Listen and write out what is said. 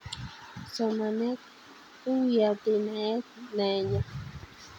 Somanet kuyatei naet nyo